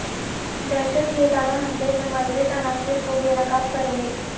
دہشت گردانہ حملے میں ملوث عناصر کو بے نقاب کریں گے